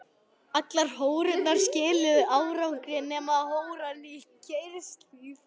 Allar holurnar skiluðu árangri nema holan í Geirshlíð.